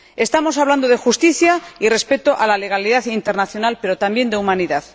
Estamos hablando de justicia y respeto de la legalidad internacional, pero también de humanidad.